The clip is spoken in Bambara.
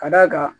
Ka d'a kan